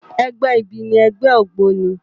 Ègbè ibi ni ègbè ógbóni